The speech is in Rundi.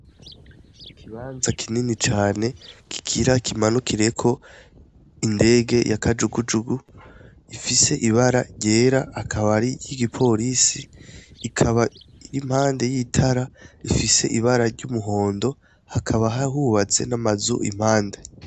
Ikibanza kinini cane kigira kimanukireko indege ya kajugujugu , ifise ibara ryera akaba ar'iry'igiporisi , ikaba ir'impande y'itara rifise ibara ry'umuhondo hakaba hubatse n'amazu iruhande.